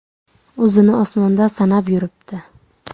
O‘zini osmonda sanab yuribdi.